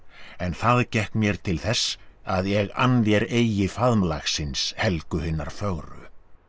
en það gekk mér til þess að ég ann þér eigi faðmlagsins Helgu hinnar fögru